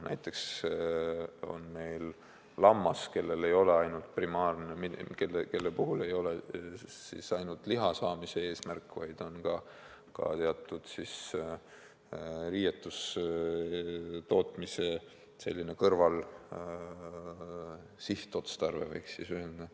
Näiteks lammas, kelle puhul ei ole ainult liha saamine eesmärk, vaid on ka riietuse tootmise kõrvalotstarve, võiks ehk öelda.